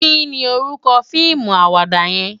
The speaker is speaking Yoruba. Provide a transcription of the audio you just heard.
Ki ni órúkò fiimú àwàdá yèn?